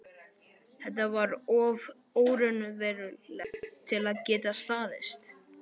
Þetta var of óraunverulegt til að geta staðist.